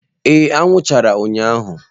Ee anwụ chara ụnyahụ.